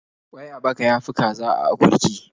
Ƙwai a baka ya fi kaza a akurki.